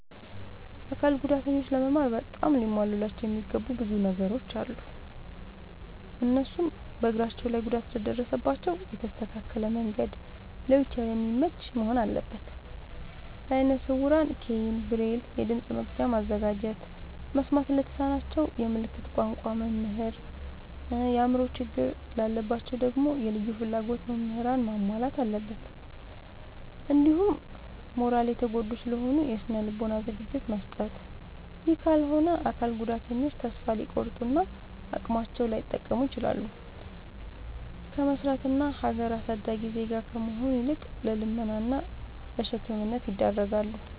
አካል ጉዳተኞች ለመማር በጣም ሊሟሉላቸው የሚገቡ ብዙ ነገሮ አሉ። እነሱም፦ እግራቸው ላይ ጉዳት ለደረሰባቸው የተስተካከለ መንድ ለዊልቸር የሚመች መሆን አለበት። ለአይነ ስውራን ኬይን፣ ብሬል፤ የድምፅ መቅጃ ማዘጋጀት፤ መስማት ለተሳናቸው የምልክት ቋንቋ መምህር፤ የአእምሮ ችግር ላለባቸው ደግሞ የልዩ ፍላጎት ምህራንን ማሟላት አለብትን። እንዲሁም ማራሊ የተጎዱ ስለሆኑ የስነ ልቦና ዝግጅት መስጠት። ይህ ካልሆነ አካል ጉዳተኞች ተሰፋ ሊቆርጡ እና አቅማቸውን ላይጠቀሙ ይችላሉ። ከመስራት እና ሀገር አሳዳጊ ዜጋ ከመሆን ይልቅ ለልመና እና ለሸክምነት ይዳረጋሉ።